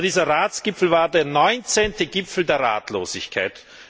Aber dieser Ratsgipfel war der 19. Gipfel der Ratlosigkeit.